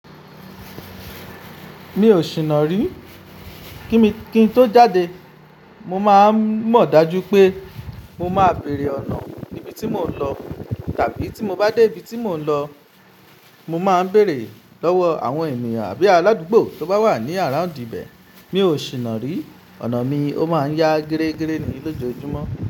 Mi ò sì nàrí. Kí n tó jáde, mo máa ń mọ̀ dájú pé mo máa béèrè ọ̀nà níbi tí mò ń lọ tàbí tí mo bá dé ibi tí mò ń lọ, mo máa ń bèèrè lọ́wọ́ àwọn ènìyàn àbí aládùúgbò tó bá wà ní around ibẹ̀. Mi ò sì nàrí. Ọ̀nà mi, ó máa ń yá gẹ́rẹ́gẹ́ ni lójoojúmọ́